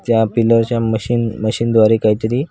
त्या पिलर च्या machine machine द्वारे काहीतरी --